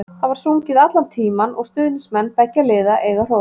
Það var sungið allan tímann og stuðningsmenn beggja liða eiga hrós.